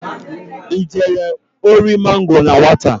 I jelu ori mangoro na nwata?